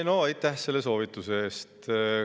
No aitäh selle soovituse eest!